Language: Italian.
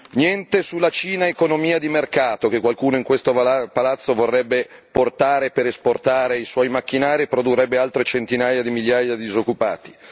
Niente sulla Cina economia di mercato, che qualcuno in questo palazzo vorrebbe portare per esportare i suoi macchinari e che produrrebbe altre centinaia di migliaia di disoccupati.